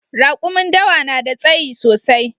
Rakumin dawa na da tsayi sosai